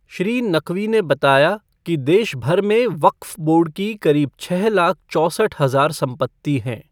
श्री नक़वी ने बताया कि देशभर में वक़्फ़ बोर्ड की करीब छःलाख चौसठ हज़ार संपत्ति हैं।